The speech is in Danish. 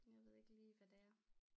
Jeg ved ikke lige hvad det er